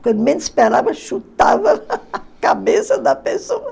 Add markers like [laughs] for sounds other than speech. Quando menos esperava, chutava [laughs] a cabeça da pessoa.